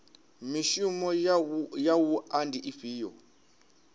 mishumo ya wua ndi ifhio